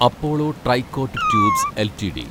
Apollo tricot tubes LTD